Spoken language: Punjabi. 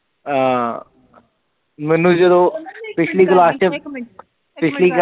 ਹਮ ਮੈਨੂੰ ਜਦੋ ਪਿਛਲੀ ਕਲਾਸ ਚ ਪਿਛਲੀ ਕਲਾਸ ਚ